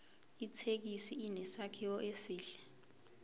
ithekisi inesakhiwo esihle